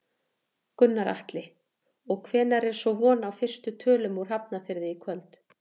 Gunnar Atli: Og hvenær er svo von á fyrstu tölum úr Hafnarfirði í kvöld?